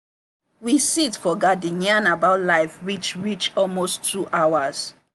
we sit for garden yarn about life reach reach almost two hours.